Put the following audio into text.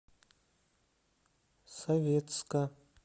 советска